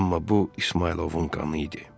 Amma bu İsmayılovun qanı idi.